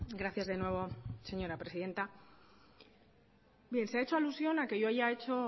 gracias de nuevo señora presidenta bien se ha hecho alusión a que yo haya hecho